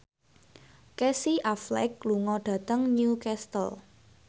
Casey Affleck lunga dhateng Newcastle